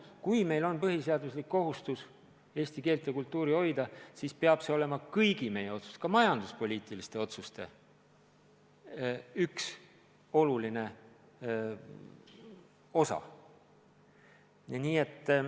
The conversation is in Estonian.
Kui meil on põhiseaduslik kohustus eesti keelt ja kultuuri hoida, siis see peab olema kõigi meie otsuste, ka majanduspoliitiliste otsuste üks oluline argument.